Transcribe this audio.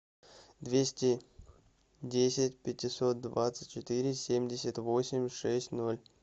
двести десять пятьсот двадцать четыре семьдесят восемь шесть ноль